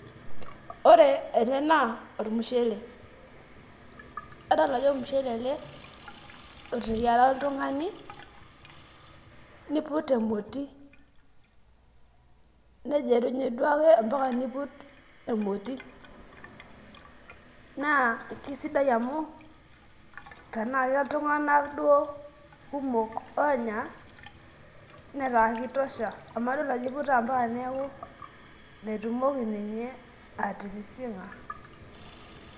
ore ele naa olmushele, adol ajo olmushele ele oteyiara oltungani niput emoti. nejerunye duo ake ampaka niput emoti, naa kisdai amu tenaa keltunganak duo kumok oonya, netaa kitosha, amu adol ajo iputa mpaka neeku metumoki ninye atipising'a.